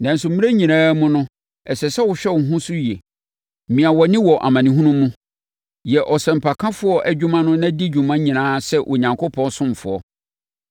Nanso mmerɛ nyinaa mu no, ɛsɛ sɛ wohwɛ wo ho so yie. Mia wʼani wɔ amanehunu mu. Yɛ ɔsɛmpakafoɔ adwuma na di wo dwuma nyinaa sɛ Onyankopɔn ɔsomfoɔ.